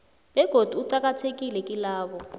begodu uqakathekile kilabo